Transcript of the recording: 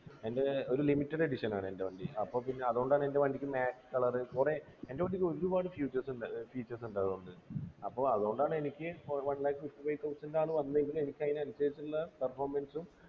എൻ്റെ ഒരു limited edition ആണെൻ്റെ വണ്ടി അപ്പൊ പിന്നെ അതോണ്ടാണ് എൻ്റെ വണ്ടിക്ക് matte color കൊറേ എൻ്റെ വണ്ടിക്കൊരുപാട് features ഉണ്ട് features ണ്ട് അതുകൊണ്ട് അപ്പൊ അത്കൊണ്ടാണ് എനിക്ക് one lakh fifty-five thousand ആണ് വന്നേ എങ്കിലും എനിക്കതിനനുസരിച്ച്ള്ള performance ഉം